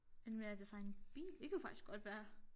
Men hvad er det så en bil det kunne faktisk godt være